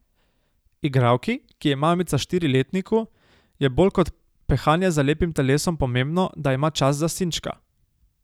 Igralki, ki je mamica štiriletniku, je bolj kot pehanje za lepim telesom pomembno, da ima čas za sinčka.